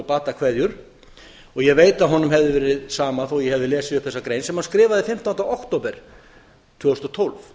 og ég veit að honum hefði verið sama þó ég hefði lesið upp þessa grein sem hann skrifaði fimmtánda október tvö þúsund og tólf